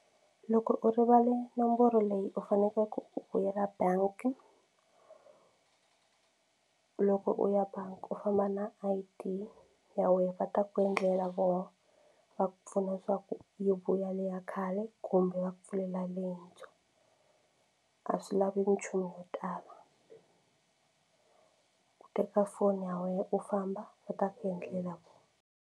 Loko u rivale nomboro leyi u fanekele u vuyela bangi loko u ya bangi u famba na I_D ya wena va ta ku endlela voho va ku pfuna swa ku yi vuya le ya khale kumbe va ku pfulela leyintshwa a swi lavi nchumu yo tala ku teka foni ya wena u famba va ta ku endlela vona.